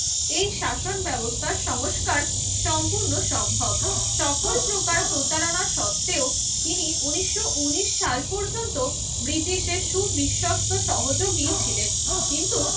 এই শাসন ব্যবস্থার সংস্কার সম্পূর্ণ সম্ভব। সকল প্রকার প্রতারণার সত্ত্বেও তিনি উনিশশো উনিশ সাল পর্যন্ত ব্রিটিশের সুবিশ্বস্ত সহযোগী ছিলেন। কিন্তু